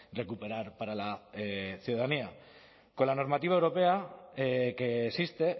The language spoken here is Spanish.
recuperar para la ciudadanía con la normativa europea que existe